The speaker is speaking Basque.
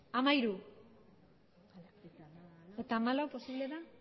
hamairugarrena